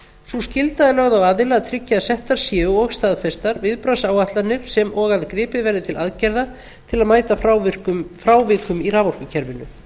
sú skylda er lögð á aðila að tryggja að settar séu og staðfestar viðbragðsáætlanir sem og að gripið verði til aðgerða til að mæta frávikum í raforkukerfinu